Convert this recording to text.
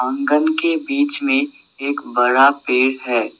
आंगन के बीच में एक बड़ा पेड़ है।